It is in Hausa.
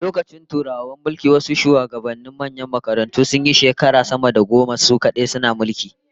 Da lokacin Turawan mulki, wasu shugabannin manyan makarantun sunyi shekara sama da goma su kadai suna mulki